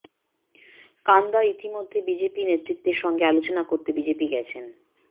কান্দা ইতিমধ্যে বিজেপি নেতৃত্বর সঙ্গে আলোচনা করতে বিজেপি গেছেন